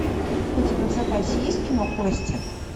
у тебя в запасе есть кино кости